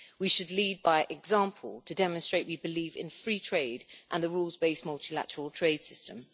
We should lead by example, to demonstrate that we believe in free trade and the rules based multilateral trade system.